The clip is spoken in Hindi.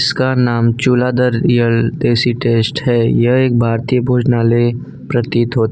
उसका नाम चूलाधर रियल देसी टेस्ट है यह एक भारतीय भोजनालय प्रतीत होता--